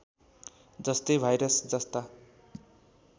जस्तै भाइरस जस्ता